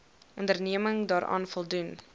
onderneming daaraan voldoen